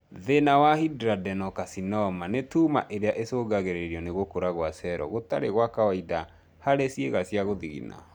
Thĩna wa Hidradenocarcinoma nĩ tuma irĩa icũngagĩrĩrio nĩ gũkũra gwa cero gũtarĩ gwa kawaida harĩ ciĩga cia gũthigina